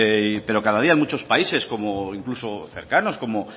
pero cada día en muchos países incluso cercanos como